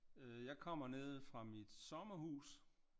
Øh jeg kommer nede fra mit sommerhus